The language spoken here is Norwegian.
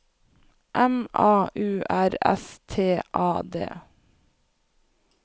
M A U R S T A D